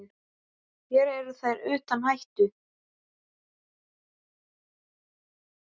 Hér eru þeir utan hættu.